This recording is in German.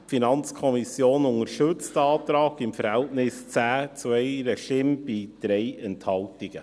Die FiKo unterstützt den Antrag mit dem Verhältnis von 10 Stimmen zu 1 bei 3 Enthaltungen.